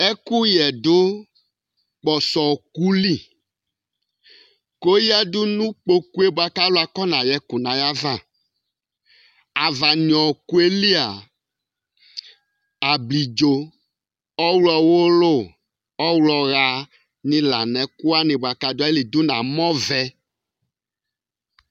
Ɛkuyɛ du kposɔ wɔkuli Kɔyadu nu kpokue buaku alu akɔnayɛ ku nayava Ava wɔkueli ablidzo ɔwulu , ɔwlɔ ya la nɛkuwani kaduali du namɔ vɛ